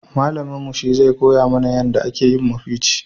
Malamin mu shi zai koya mana yanda a ke yin mafici